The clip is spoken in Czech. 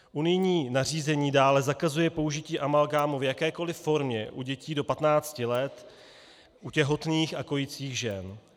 Unijní nařízení dále zakazuje použití amalgámu v jakékoli formě u dětí do 15 let, u těhotných a kojících žen.